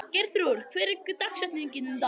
Geirþrúður, hver er dagsetningin í dag?